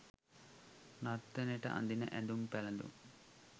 නර්තනයට අඳින ඇඳුම් පැළඳුම්